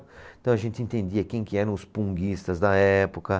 Então, a gente entendia quem que eram os punguistas da época.